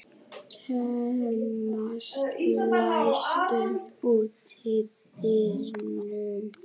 Thomas, læstu útidyrunum.